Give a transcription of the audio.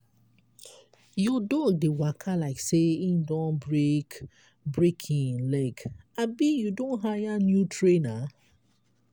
your dog dey waka like say im don break break im leg abi you don hire new trainer?